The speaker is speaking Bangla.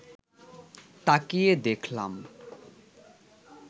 তাকিয়ে দেখলাম